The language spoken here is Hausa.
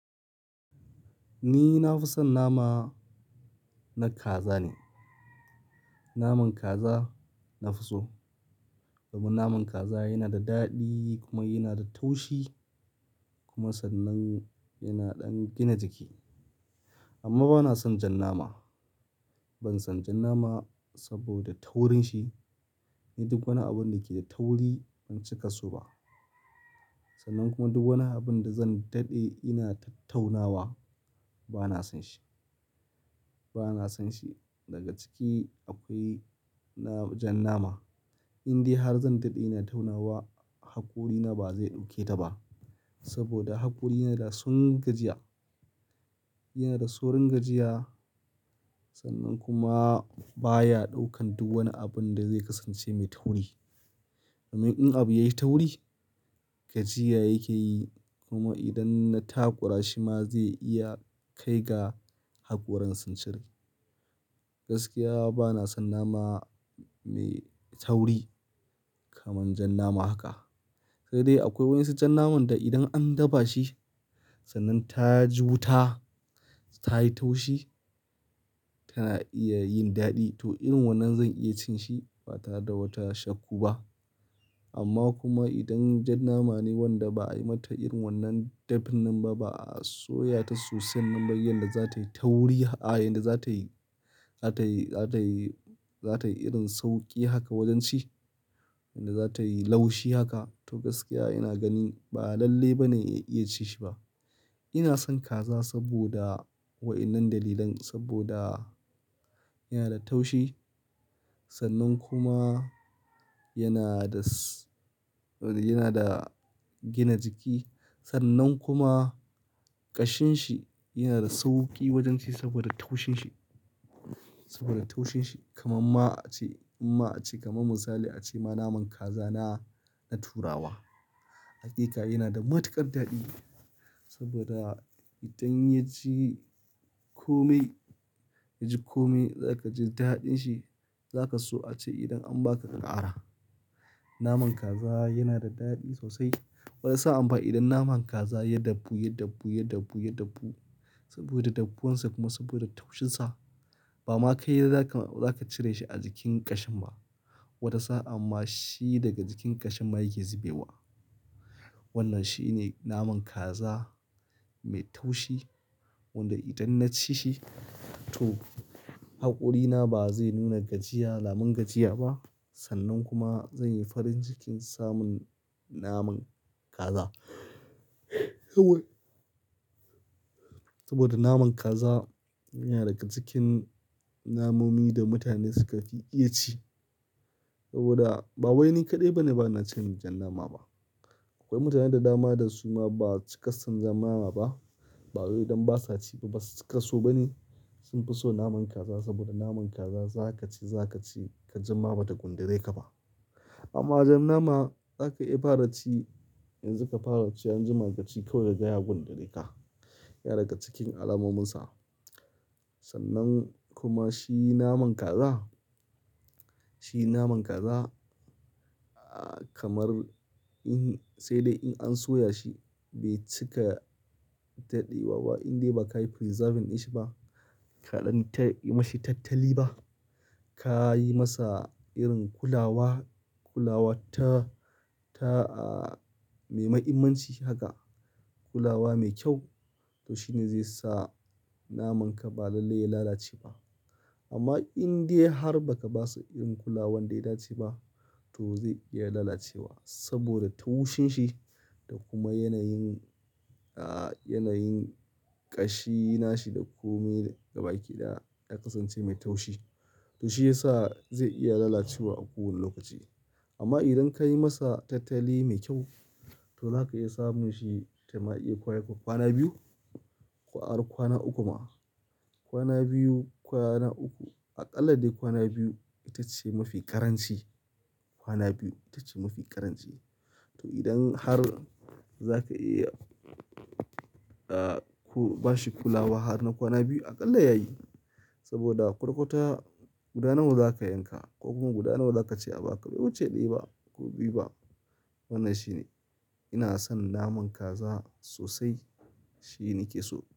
Ni na fi son nama na kaza ne. Naman kaza nafi so. Domin naman kaza yana da daɗi kuma yana da taushi kuma sannan yana ɗan gina jiki. Amma bana son jan nama. Ban son jan nama saboda taurin shi. Ni duk wani abun da ke da tauri ban cika so ba. Sannan kuma duk wani abun da zan daɗe ina tattaunawa bana son shi, bana son shi. Daga ciki akwai jan nama. Indai har zan daɗe ina taunawa haƙori na ba zai ɗauke ta ba saboda haƙori na da sun gajiya. Yana da saurin gajiya sannan kuma baya ɗaukan duk wani abun da zai kasance mai tauri. Domin in abu yai tauri gajiya yake yi kuma idan na takura shi ma zai iya kai ga haƙoran sun cire. Gaskiya bana son nama mai tauri kamar jan nama haka. Sai dai akwai wasu jan naman da idan an dafa shi sannan ta ji wuta ta yi taushi tana iya yin daɗi. To irin wannan zan iya cin shi ba tare da wata shakku ba. Amma kuma idan jan nama ne wanda ba ai mata irin wannan dafin nan ba, ba a soya ta sosai nan ba, yadda za ta yi tauri, a yadda za ta yi, za ta yi, za ta yi, za ta yi irin sauƙi haka wajen ci, yadda za ta yi laushi haka. To gaskiya ina gani ba lalle ba ne in iya ci shi ba. Ina son kaza saboda waɗannan dalilan saboda yana da taushi sannan kuma yana da, yana da gina jiki. Sannan kuma ƙashin shi yana da sauƙi wajen ci saboda taushin shi, saboda taushin shi. Kaman ma a ce, in ma a ce kamar misali a ce ma naman kaza na, na turawa. Haƙiƙa yana da matuƙar daɗi saboda idan ya ji kome, ya ji kome za ka ji daɗin shi. Za ka so a ce idan an ba ka, ka ƙara. Naman kaza yana da daɗi sosai. Wata sa'an fa idan naman kaza ya dafu, ya dafu, ya dafu, ya dafu saboda daffunsa kuma saboda taushinsa ba ma kai za ka, za ka cire shi a jikin ƙashin ba. Wata sa'anma shi daga jikin ƙashin ma yake zube wa. Wannan shi ne naman kaza mai taushi wanda idan na ci shi to haƙorina ba zai nuna gajiya, alamun gajiya ba. Sannan kuma zan yi farin cikin samun naman kaza. Saboda naman kaza yana daga cikin namomin da mutane suka fi iya ci. Saboda ba wai ni kaɗai bane bana cin jan nama ba. Akwai mutanen da dama da su ma ba su cika san jan nama ba. Ba wai dan ba sa ci ba, ba su cika so ba ne. Sun fi son naman kaza saboda naman kaza za ka ci, za ka ci ka jima bata gundare ka ba. Amma jan nama za ka iya fara ci, yanzu ka fara ci an jima ka ci kawai ka ga ya gundare ka. Yana daga cikin alamominsa. Sannan kuma shi naman kaza, shi naman kaza kamar in-- sai dai in an soya shi bai cika daɗe wa ba. Indai ba ka yi preserving ɗin shi ba, ka ɗan ta yi mashi tattali ba. Ka yi masa irin kulawa, kulawa ta, ta mai mahimmanci haka. Kulawa mai kyau. To shi ne zai sa naman ka ba lalle ya lalace ba. Amma indai har ba ka basu irin kulawar da ya dace ba to zai iya lalacewa saboda taushin shi da kuma yanayin, a, yanayin ƙashi na shi da kome ga baki ɗaya ya kasance mai taushi. To shi ya sa zai iya lalacewa a kowane lokaci. Amma idan ka yi masa tattali mai kyau to zaka iya samun shi, ta ma iya kwana biyu. Ko ari kwana uku ma. Kwana biyu, kwana uku. A ƙalla dai kwana biyu ita ce mafi ƙaranci. Kwana biyu ita ce mafi karanci. To idan har za ka iya, a, ku ba shi kulawa har na kwana biyu a ƙalla ya yi. Saboda kwata kwata guda nawa za ka yanka ko kuma guda nawa za ka ce a baka bai wuce ɗaya ba ko biyu ba. Wannan shine. Ina son naman kaza sosai. Shi ni ke so.